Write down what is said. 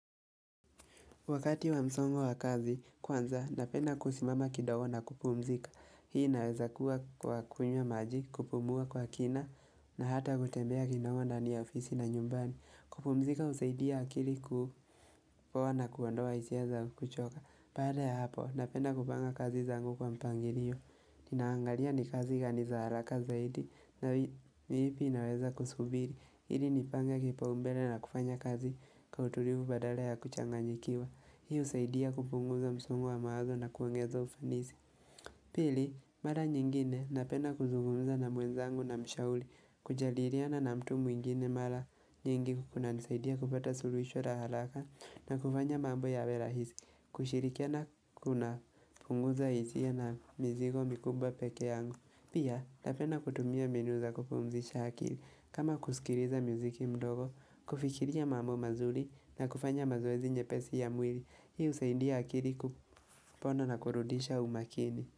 Wakati wa msongo wa kazi, kwanza, napenda kusimama kidogo na kupumzika. Hii inaweza kuwa kwa kunywa maji, kupumua kwa kina, na hata hutembea kidogo ndani ya ofisi na nyumbani. Kupumzika husaidia akili kupoa na kuondoa hisia za kuchoka. Baada ya hapo, napenda kupanga kazi zangu kwa mpangilio. Ninaangalia ni kazi gani za haraka zaidi, na ni ipi inaweza kusubiri. Ili nipange kipaumbele na kufanya kazi kwa utulivu badala ya kuchanganyikiwa. Hii husaidia kupunguza msongo wa mawazo na kuongeza ufanisi. Pili, mara nyingine napenda kuzugumza na mwenzangu namshauri. Kujadiliana na mtu mwingine mara nyingi kunanisaidia kupata suluhisho la haraka na kufanya mambo yawe rahisi. Kushirikiana kuna punguza hisia na mizigo mikubwa peke yangu. Pia, napenda kutumia mbinu za kupumzisha akili. Kama kusikiliza muziki mdogo, kufikiria mambo mazuri na kufanya mazoezi nyepesi ya mwili. Hii husaidia akili kupona na kurudisha umakini.